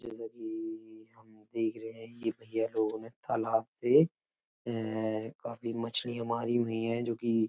जैसा कि हम देख रहे है की ये भैया लोग तालाब से काफी मछलियाँ मारी हुई है।